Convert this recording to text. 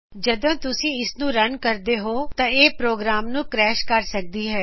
ਜਦੋਂ ਤੁਸੀ ਇਸ ਨੂੰ ਰਨ ਕਰਦੇ ਹੋ ਤਾਂ ਇਹ ਪ੍ਰੋਗਰਾਮ ਨੂੰ ਕਰੈਸ਼ ਕਰ ਸਕਦੀ ਹੈ